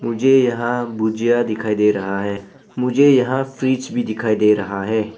मुझे यहां भुजिया दिखाई दे रहा है मुझे यहां फ्रिज भी दिखाई दे रहा है।